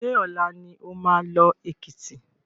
Ṣé ọ̀la ni oma lọ Èkìtì?